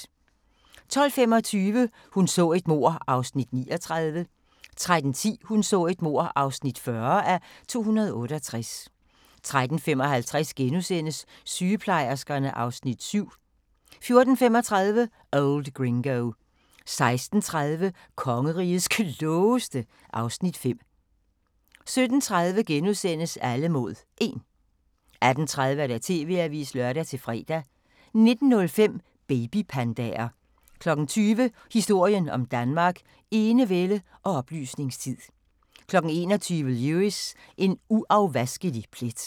12:25: Hun så et mord (39:268) 13:10: Hun så et mord (40:268) 13:55: Sygeplejerskerne (Afs. 7)* 14:35: Old Gringo 16:30: Kongerigets Klogeste (Afs. 5) 17:30: Alle mod 1 * 18:30: TV-avisen (lør-fre) 19:05: Babypandaer 20:00: Historien om Danmark: Enevælde og oplysningstid 21:00: Lewis: En uafvaskelig plet